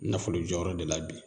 Nafolo jɔyɔrɔ de la bi